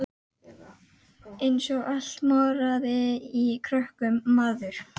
Eins og allt moraði í krökkum maður.